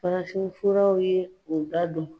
Farafin furaw ye o da don.